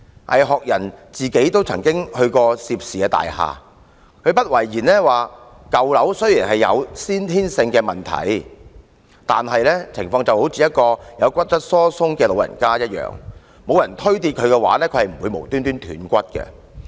倪學仁自己也曾到涉事大廈，他不諱言舊樓雖然有先天性的問題，但情況就如一名患有骨質疏鬆的長者，若無人把他推倒，他是不會無故斷骨的。